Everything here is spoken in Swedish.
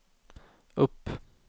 upp